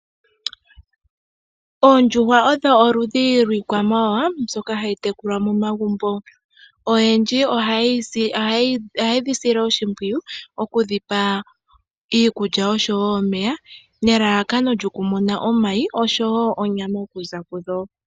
Oondjuhwa odho oludhi lwiikwama wawa mbyoka hayi tekulwa momagumbo oyendji ohaye dhi sile oshipwiyu okudhipa iikulya oshowo omeya nelalakano lyokumona omayi oshowo onyama okuza kudho.